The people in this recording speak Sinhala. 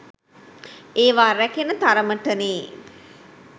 ඒවා රැකෙන තරමටනෙ